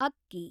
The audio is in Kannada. ಅಕ್ಕಿ